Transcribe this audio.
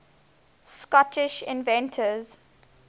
scottish inventors